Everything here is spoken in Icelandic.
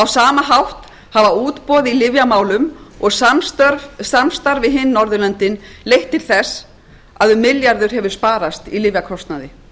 sama hátt hafa útboð í lyfjamálum og samstarf við hin norðurlöndin leitt til þess að um milljarður hefur sparast í lyfjakostnaði